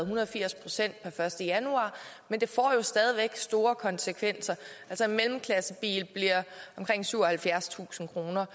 hundrede og firs procent per første januar men det får jo stadig væk store konsekvenser altså en mellemklassebil bliver omkring syvoghalvfjerdstusind kroner